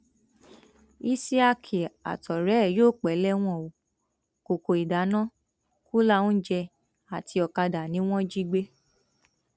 isiaq àtọrẹ ẹ yóò pẹ lẹwọn ó kọkọ ìdáná kùlà oúnjẹ àti ọkadà ni wọn jí gbé